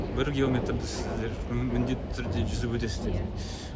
иә бір километрді сіздер міндетті түрде жүзіп өтесіздер